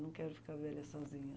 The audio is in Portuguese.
Não quero ficar velha sozinha.